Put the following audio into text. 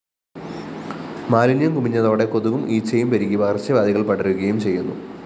മാലിന്യം കുമിഞ്ഞതോടെ കൊതുകും ഈച്ചയും പെരുകി പകര്‍ച്ചവ്യാധികള്‍ പടരുകയും ചെയ്യുന്നു